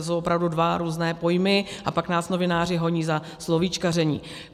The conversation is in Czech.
To jsou opravdu dva různé pojmy, a pak nás novináři honí za slovíčkaření.